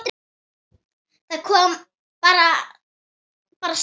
Það kom bara stuna.